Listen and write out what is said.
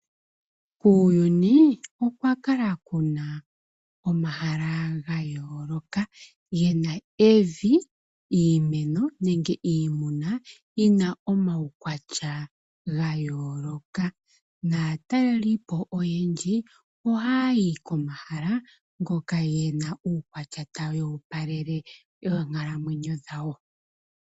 Kuuyuni okwakala ku na omahala gayooloka ge na evi, iimeno nenge iimuna yi na omaukwatya gayooloka. Naataleli po oyendji ohaya yi komahala ngoka ge na uukwatya tawu opalele oonkalamwenyo dhawo.